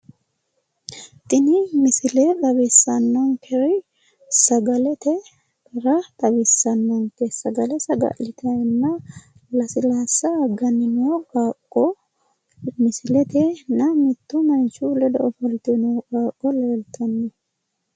Tini misile xawissannonkeho sagalete heera xawissannonke. Sagale saga'litayina lasilaasa agganni noo qaaqqo misiletenna manchu ledo ofolte noo qaaqqo leeltanno.